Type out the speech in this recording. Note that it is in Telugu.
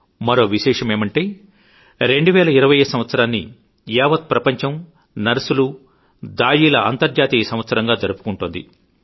మరో విశేషమేమిటంటే 2020 సంవత్సరాన్ని యావత్ ప్రపంచం నర్సులు దాయీల అంతర్జాతీయ సంవత్సరంగా జరుపుకుంటోంది